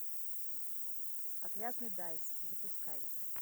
отвязный дайс запускай